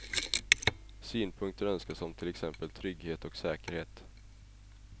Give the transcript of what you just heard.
Synpunkter önskas om till exempel trygghet och säkerhet.